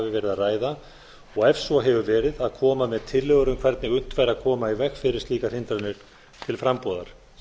að ræða og ef svo hefur verið að koma með tillögur um hvernig unnt væri að koma í veg fyrir slíkar hindranir til frambúðar